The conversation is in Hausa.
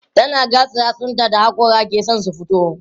tana gatsa yatsun ta hakora ke San su fito